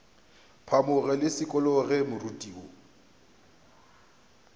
phamoge ke šikologe moriti wo